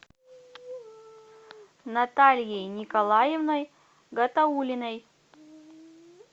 натальей николаевной гатауллиной